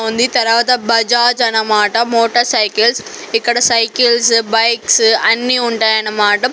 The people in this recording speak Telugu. బావుంది తరవాత బజాజ్ అన్నమాట మోటార్ సైకిల్స్ ఇక్కడ సైకిల్సు బైక్సు అన్ని ఉంటాయన్నమాట.